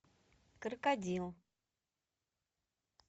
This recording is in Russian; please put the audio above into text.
крокодил